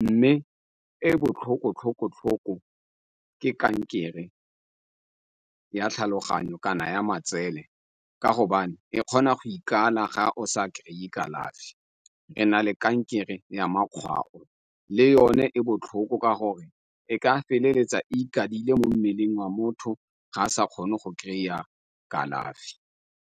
mme e botlhoko tlhoko-tlhoko ke kankere ya tlhaloganyo, kana ya matsele ka gobane e kgona go ikala ga o sa kry-e kalafi. Re na le kankere ya makgwao, le yone e botlhoko, ka gore e ka feleletsa e ikadile mo mmeleng wa motho ga a sa kgone go kry-a kalafi.